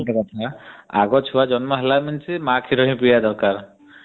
ଆଉ ଗୋଟେ କଥା ଆଗ ଛୁଆ ଜନ୍ମ ହେଲା ମାତ୍ରେ ମା କ୍ଷୀର ପିଏବା ଦରକାର.